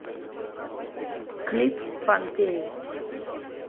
клип помпеи